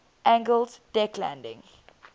angled deck landing